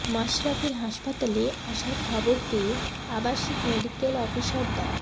মাশরাফির হাসপাতালে আসার খবর পেয়ে আবাসিক মেডিক্যাল অফিসার ডা